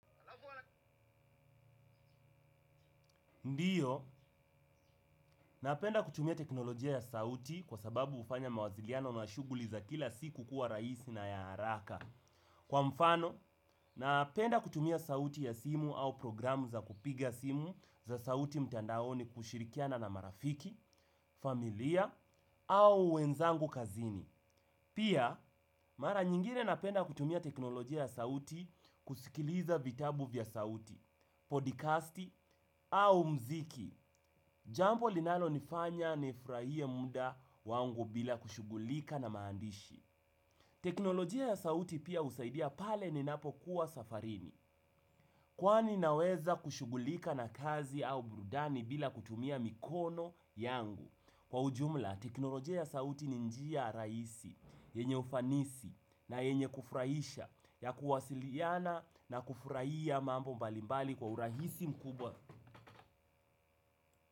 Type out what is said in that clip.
Ndiyo, napenda kutumia teknolojia ya sauti kwa sababu ufanya mawasiliano na shuguli za kila siku kuwa raisi na ya haraka. Kwa mfano, napenda kutumia sauti ya simu au programu za kupiga simu za sauti mtandaoni kushirikiana na marafiki, familia au wenzangu kazini. Pia, mara nyingine napenda kutumia teknolojia ya sauti kusikiliza vitabu vya sauti, podicasti au mziki. Jambo linalonifanya nifurahie muda wangu bila kushugulika na maandishi. Teknolojia ya sauti pia usaidia pale ninapokuwa safarini. Kwani naweza kushugulika na kazi au brudani bila kutumia mikono yangu. Kwa ujumla, teknolojia ya sauti ni njia raisi, yenye ufanisi na yenye kufuraisha ya kuwasiliana na kufuraia mambo mbalimbali kwa urahisi mkubwa.